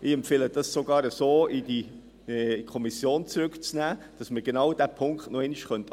Ich empfehle sogar, dies so in die Kommission zurückzunehmen, damit man genau diesen Punkt nochmals anschauen könnte.